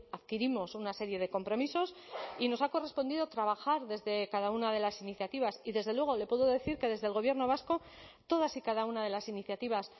adquirimos una serie de compromisos y nos ha correspondido trabajar desde cada una de las iniciativas y desde luego le puedo decir que desde el gobierno vasco todas y cada una de las iniciativas